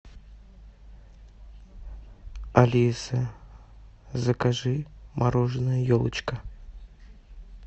алиса закажи мороженое елочка